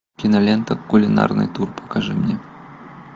кинолента кулинарный тур покажи мне